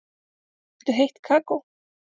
Viltu heitt kakó?